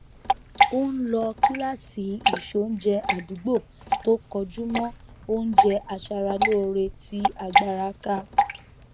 ó n lọ kíláàsì ìseoúnjẹ àdúgbò tó kọjú mọ oúnjẹ aṣara lóore tí agbára ká